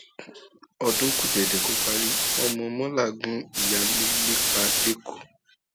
ọdún kù dẹdẹ kó parí ọmọ mọla gun ìyáálé ilé pa lẹkọọ